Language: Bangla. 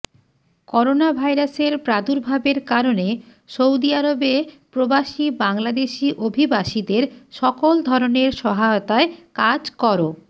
করোনাভাইরাসের প্রাদুর্ভাবের কারণে সৌদি আরবে প্রবাসী বাংলাদেশি অভিবাসীদের সকল ধরনের সহায়তায় কাজ কর